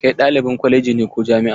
Kai ɗalibin kwaleji ne ko jami'a?